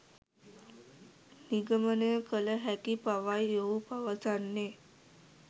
නිගමනය කළ හැකි බවයි ඔහු පවසන්නේ